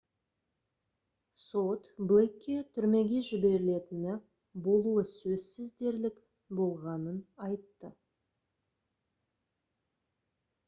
сот блейкке түрмеге жіберілетіні «болуы сөзсіз дерлік» болғанын айтты